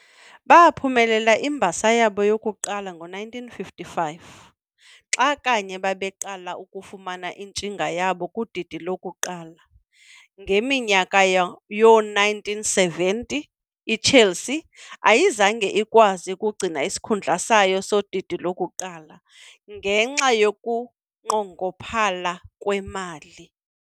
Baaphumelela imbasa yabo yokuqala ngo-1955, xa kanye babeqala ukufumana intshinga yabo kudidi lokuqala. Ngeminyaka yoo-1970 iChelsea ayizange ikwazi ukugcina isikhundla sayo sodidi lokuqala, ngenxa yokunqongophala kwemali.